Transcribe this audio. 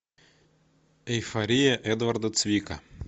эйфория эдварда цвика